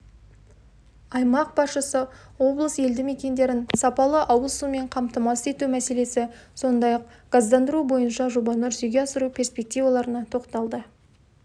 аймақ басшысы облыс елді мекендерін сапалы ауыз сумен қамтамасыз ету мәселесі сондай-ақ газдандыру бойынша жобаны жүзеге асыру перспективаларына тоқталды